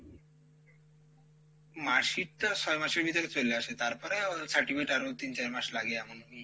marksheet টা ছয় মাসের ভিতরে চলে আসে তারপরে ও certificate আরও তিন চার মাস লাগে এমন